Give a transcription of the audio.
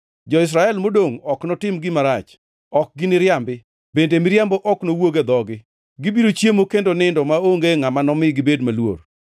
Jo-Israel modongʼ ok notim gima rach, ok giniriambi, bende miriambo ok nowuog e dhogi. Gibiro chiemo kendo nindo maonge ngʼama nomi gibed maluor.”